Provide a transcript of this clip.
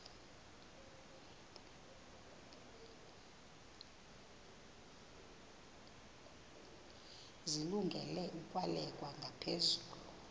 zilungele ukwalekwa ngaphezulu